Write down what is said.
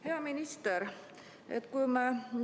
Hea minister!